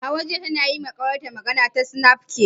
Hauwa jiya tana yima kawar ta magana ta sinafcat